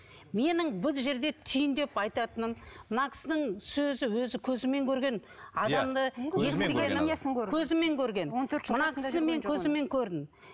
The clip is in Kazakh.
менің бұл жерде түйіндеп айтатыным мына кісінің сөзі өзі көзімен көрген адамды көзімен көрген мына кісі мен көзіммен көрдім